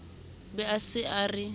be a se a re